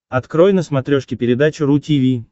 открой на смотрешке передачу ру ти ви